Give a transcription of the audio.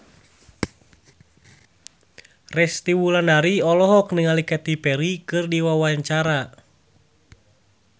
Resty Wulandari olohok ningali Katy Perry keur diwawancara